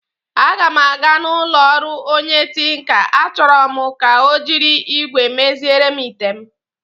Aga m aga n'ụlọ ọrụ onye tinka, achoro m ka ọ jiri igwé meziere m ite m